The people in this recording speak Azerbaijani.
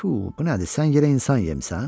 Tfu, bu nədir, sən yerə insan yemisən?